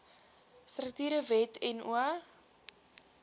strukture wet no